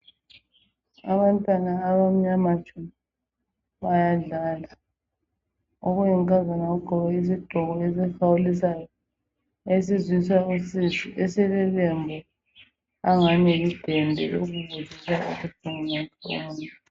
Abantwana abamnyama tshu bayadlala. Okuyinkazana kugqoke isigqoko esihawulisayo. Esizwisa usizi esilelembu angani lidende